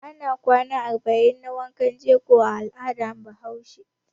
Ana kwana arba'in na wankan jego a al'adar Bahaushe.